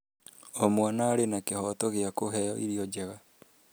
O mwana arĩ na kĩhooto gĩa kũheo irio njega.